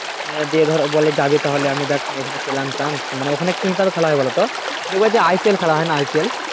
হ্যাঁ দিয়ে ধরো বলে জাবি তাহলে আমি দ্যাখ এখানে পেলাম chance মানে ওখানে কি হিসাবে খেলা হয় বলতো দেখবা যে IPL খেলা হয়না IPL